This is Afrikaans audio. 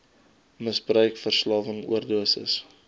misbruik verslawing oordosis